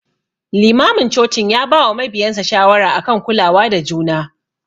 Limamin cocin ya bawa mabiyansa shawara akan kulawa da juna.